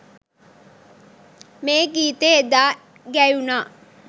මේ ගීතය එදා ගැයුනා